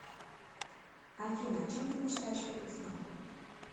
афина о чем ты мечтаешь перед сном